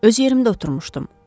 Öz yerimdə oturmuşdum.